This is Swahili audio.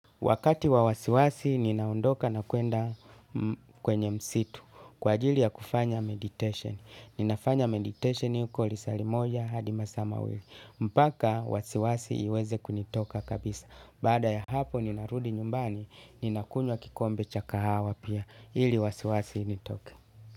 Wakati wa wasiwasi, ninaondoka na kwenda kwenye msitu kwa ajili ya kufanya meditation. Ninafanya meditation huko lisali moja hadimasaa mawili. Mpaka, wasiwasi iweze kunitoka kabisa. Baada ya hapo, ninarudi nyumbani, ninakunywa kikombe cha kahawa pia. Hili wasiwasi initoke.